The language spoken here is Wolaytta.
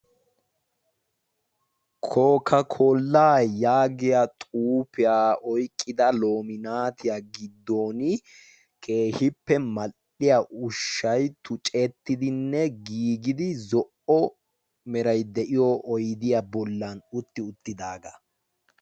kokakolaa yaagiya xuufiyaa oyqqida lominaatiyaa giddon keehippe mal''iya ushshai tu cettidinne giigidi zo''o meray de'iyo oydiya bollan utti uttidaagaa